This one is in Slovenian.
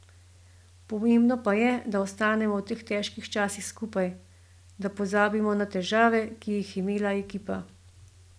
Pomembno pa je, da ostanemo v teh težkih časih skupaj, da pozabimo na težave, ki jih je imela ekipa.